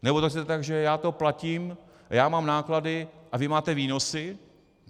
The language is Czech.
Nebo to chcete tak, že já to platím, já mám náklady a vy máte výnosy?